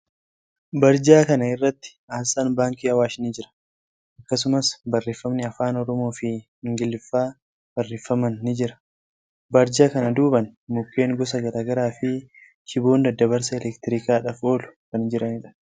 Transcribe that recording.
Barjaa kana irratti aasxaan baankii Awaash ni jira. Akkasumas, barreeffamni afaan Oromoo fii Ingiliffaa barreeffaman ni jira. Barjaa kana duuban, mukkeen gosa garagaraa fi shiboon daddabarsa elektiriikidhaaf oolu kan jiraniidha.